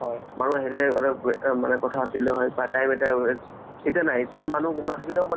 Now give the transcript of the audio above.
ভাৰত টো ভগৱান ভগৱান ৰ serial কেইটা কি সেই কেইটা web series কেইটা চোৱাত মানে বহুত interest